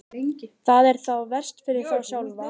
Það er þá verst fyrir þá sjálfa.